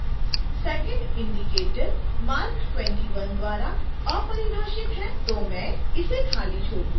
2nd indicator marc 21 द्वारा अपरिभाषित है तो मैं इसे खाली छोड दूंगी